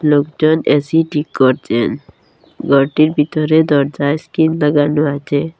লোকজন এসি ঠিক করছেন ঘরটির ভিতরে দরজায় স্ক্রিন লাগানো আচে।